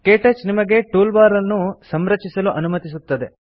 ಕೇಟಚ್ ನಿಮಗೆ toolbar ಅನ್ನು ಸಂರಚಿಸಲು ಅನುಮತಿಸುತ್ತದೆ